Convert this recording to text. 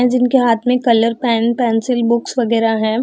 है जिनके हाथ में कलर पेन पेंसिल बुक्स वगैरा है।